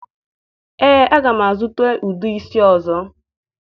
Ee, aga m azụta ude isi ọzọ